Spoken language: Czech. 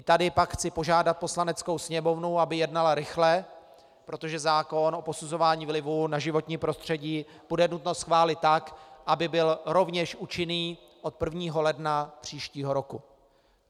I tady pak chci požádat Poslaneckou sněmovnu, aby jednala rychle, protože zákon o posuzování vlivu na životní prostředí bude nutno schválit tak, aby byl rovněž účinný od 1. ledna příštího roku.